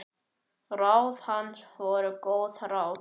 Ráð hans voru góð ráð.